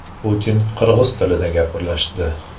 Putin qirg‘iz tilida gaplashdi.